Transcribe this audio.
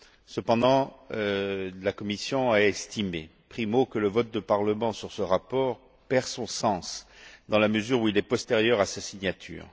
Cependant, la commission a estimé, premièrement, que le vote du Parlement sur ce rapport perd son sens, dans la mesure où il est postérieur à sa signature.